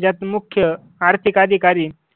ज्यात मुख्य आर्थिक अधिकारी